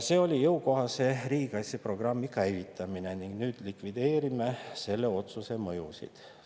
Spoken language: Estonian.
See oli jõukohase riigikaitseprogrammi käivitamine ning nüüd me likvideerime selle otsuse mõjusid.